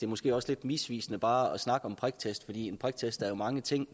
måske også lidt misvisende bare at snakke om priktest for en priktest er jo mange ting